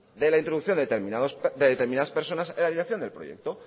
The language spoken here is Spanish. de la introducción de determinadas personas en la dirección del proyecto